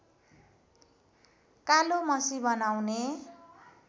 कालो मसी बनाउने